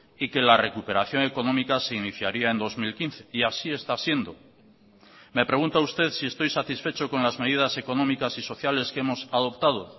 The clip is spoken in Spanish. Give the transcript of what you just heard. y que la recuperación económica se iniciaría en dos mil quince y así está siendo me pregunta usted si estoy satisfecho con las medidas económicas y sociales que hemos adoptado